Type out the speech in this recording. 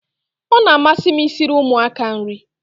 Ọ na-amasị m i siri ụmụaka nri